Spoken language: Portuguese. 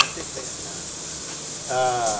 Na sequência, ãh, a...